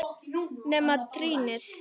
Nema trýnið.